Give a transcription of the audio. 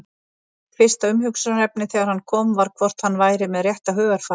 Mitt fyrsta umhugsunarefni þegar hann kom var hvort hann væri með rétta hugarfarið?